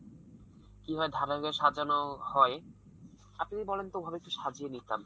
কিভাবে সাজানো হয়, আপনি যদি বলেন তো ভাবে একটু সাজিয়ে নিতাম।